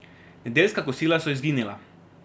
Nedeljska kosila so izginila.